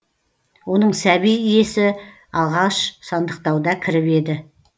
оның сәби есі алғаш сандықтауда кіріп еді